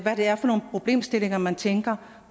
det er for nogle problemstillinger man tænker